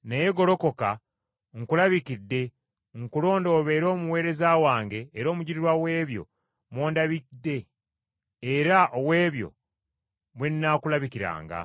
Naye golokoka. Nkulabikidde, nkulonde obeere omuweereza wange era omujulirwa w’ebyo mw’ondabidde era ow’ebyo mwe nnaakulabikiranga.